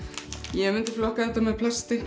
ég myndi flokka þetta með plasti